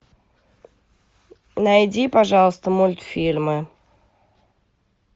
найди пожалуйста мультфильмы